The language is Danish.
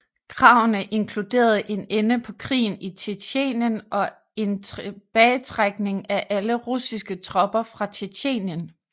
Kravene inkluderede en ende på krigen i Tjetjenien og en tilbagetrækning af alle russiske tropper fra Tjetjenien